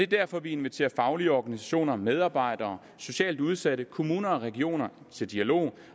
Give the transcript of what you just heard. derfor vi inviterer faglige organisationer medarbejdere socialt udsatte kommuner og regioner til dialog